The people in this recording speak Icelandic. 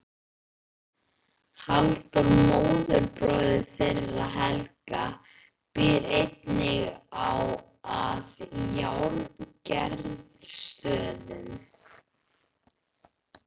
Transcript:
Halldór móðurbróðir þeirra Helga býr einnig að Járngerðarstöðum.